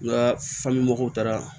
N ka fa me mɔgɔw taara